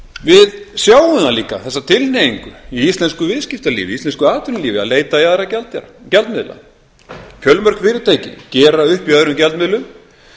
við sjáum líka þessa tilhneigingu í íslensku viðskiptalífi íslensku atvinnulífi að leita í aðra gjaldmiðla fjölmörg fyrirtæki gera upp í öðrum gjaldmiðlum